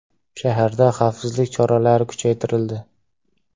Shaharda xavfsizlik choralari kuchaytirildi.